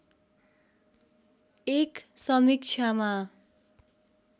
एक समीक्षामा